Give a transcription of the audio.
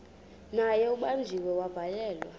naye ubanjiwe wavalelwa